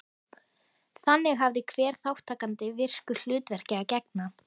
Þannig hafði hver þátttakandi virku hlutverki að gegna.